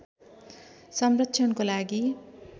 संरक्षणको लागि